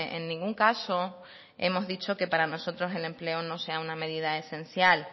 en ningún caso hemos dicho que para nosotros el empleo no sea una medida esencial